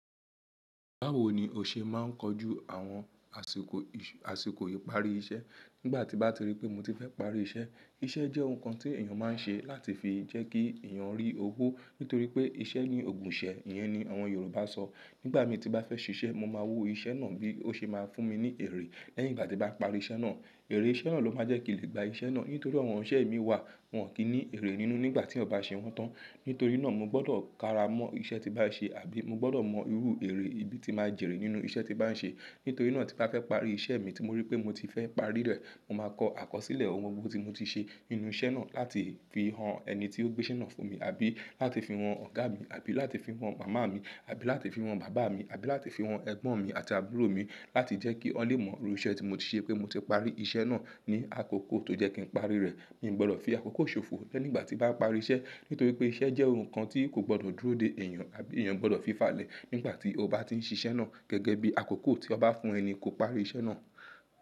Báwo ni o ṣe máa ń kojú àwọn àsìkò, àsìkò ìparí iṣẹ́ nígbà tí bá ti rí pé mo ti fẹ́ parí iṣẹ́? Iṣẹ́ jẹ́ ohun kan tí èèyàn máa ń ṣe láti fi jẹ́ kí èèyàn rí owó nítorí pé iṣẹ́ ni ògùn ìṣẹ́, ìyẹn ni àwọn Yorùbá sọ. Nígbà mi tí bá fẹ́ ṣiṣẹ́, mo máa wo iṣẹ́ náà bí ó ṣe máa fún mi ní èrè lẹ́yìn ìgbà tí bá parí iṣẹ́ náà. Èrè iṣẹ́ náà ló máa jẹ́ kí n lè gba iṣẹ́ náà nítorí àwọn ọ̀rẹ́ mi wà wọn kì í ní èrè nínú nígbà tí ọ̀ bá ṣe wọ́n tán. Nítorí náà mo gbọ́dọ̀ kára mọ́ iṣẹ́ tí bá ń ṣe àbí mo gbọ́dọ̀ mọ irú èrè ibi tí máa jèrè nínú iṣẹ́ tí bá ń ṣe. Nítorí náà tí bá fẹ́ parí iṣẹ́ mi tí mo rí pé mo ti fẹ́ parí rẹ̀, mo máa kọ àkọsílẹ̀ ohun gbogbo tí mo ti ṣe nínú iṣẹ́ náà láti fi han ẹni tí ó gbé iṣẹ́ náà fún mi àbí láti fi wọn ọ̀gá mi àbí láti fi wọn màmá mi àbí láti fi wọn bàbá mi àbí láti fi wọn ẹ̀gbọ́n mi àti àbúrò mi láti jẹ́ kí wọ́n lè mọ irú iṣẹ́ tí mo ti ṣe pé mo ti parí iṣẹ́ náà ní àkókò tó jẹ́ kí n parí rẹ̀. Mi ò gbọ́dọ̀ fi àkókò ṣòfò lẹ́ nígbà tí bá parí iṣẹ́ nítorí pé iṣẹ́ jẹ́ ohun kan tí kò gbọ́dọ̀ dúró de èèyàn àbí èèyàn gbọ́dọ̀ fi fàlẹ́ nígbà tí ó bá ti ń ṣiṣẹ́ náà gẹ́gẹ́ bí àkókò tí ọ bá fún ẹni kò parí iṣẹ́ náà.